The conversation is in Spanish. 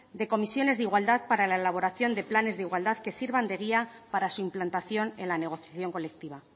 de comisiones de igualdad para la elaboración de planes de igualdad que sirvan de guía para su implantación en la negociación colectiva